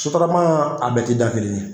Sotarama a bɛɛ tɛ da kelen ye.